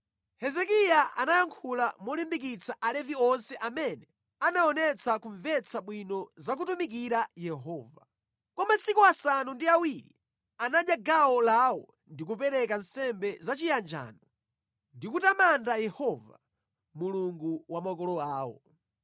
Hezekiya anayankhula molimbikitsa Alevi onse amene anaonetsa kumvetsa bwino za kutumikira Yehova. Kwa masiku asanu ndi awiri anadya gawo lawo ndi kupereka nsembe zachiyanjano ndi kutamanda Yehova, Mulungu wa makolo awo.